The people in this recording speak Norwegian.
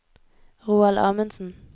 Roald Amundsen